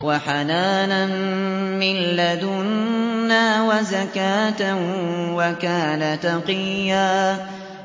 وَحَنَانًا مِّن لَّدُنَّا وَزَكَاةً ۖ وَكَانَ تَقِيًّا